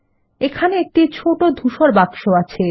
এখানে একটি ছোট ধূসর বাক্স আছে